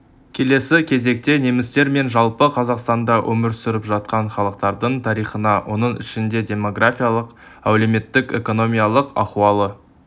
келесі кезекте немістер мен жалпы қазақстанда өмір сүріп жатқан халықтардың тарихына оның ішінде демографиялық әлеуметтік-экономикалық ахуалы